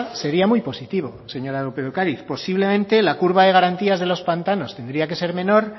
sería muy positivo señora lópez de ocariz posiblemente la curva de garantía de los pantanos tendría que ser menor